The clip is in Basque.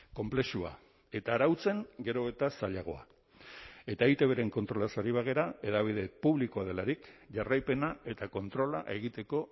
konplexua eta arautzen gero eta zailagoa eta eitbren kontrolaz ari bagara hedabide publikoa delarik jarraipena eta kontrola egiteko